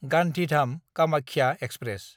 Gandhidham Kamakhya express